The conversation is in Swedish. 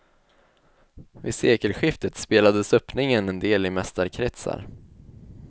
Vid sekelskiftet spelades öppningen en del i mästarkretsar.